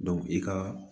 i ka